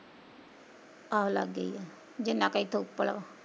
ਹਾਂ ਲੱਗੇ ਈ ਆ, ਜਿੰਨਾਂ ਕ ਏਥੋਂ ਉੱਪਲਾਂ